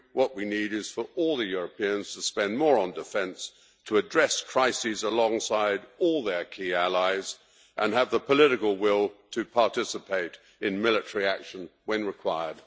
what we need is for all the Europeans to spend more on defence to address crises alongside all their key allies and to have the political will to participate in military action when required.